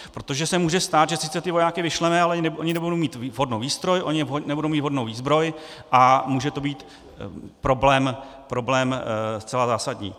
Protože se může stát, že sice ty vojáky vyšleme, ale oni nebudou mít vhodnou výstroj, oni nebudou mít vhodnou výzbroj a může to být problém zcela zásadní.